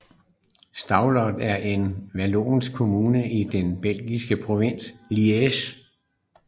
Stavelot er en vallonsk kommune i den belgiske provins Liège